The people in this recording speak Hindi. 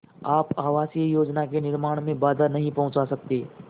आप आवासीय योजना के निर्माण में बाधा नहीं पहुँचा सकते